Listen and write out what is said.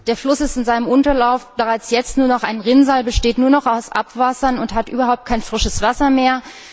Der Fluss ist in seinem Unterlauf bereits jetzt nur noch ein Rinnsal. Er besteht dort nur noch aus Abwässern und hat dort überhaupt kein frisches Wasser mehr.